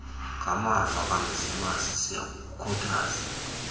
ngamava kamzimasi siyakukhuthaza